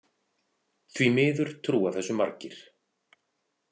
Því miður trúa þessu margir.